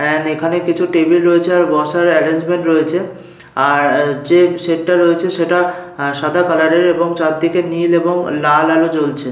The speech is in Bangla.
এন্ড এখানে কিছু টেবিল রয়েছে আর বসার এরেঞ্জমেন্ট রয়েছে। আর যে সেট টা রয়েছে সেটা আহ সাদা কালার এর এবং চারদিকে নীল এবং লাল আলো জ্বলছে।